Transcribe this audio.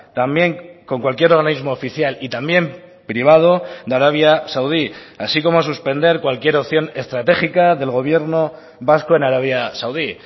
también con cualquier organismo oficial y también privado de arabia saudí así como suspender cualquier opción estratégica del gobierno vasco en arabia saudí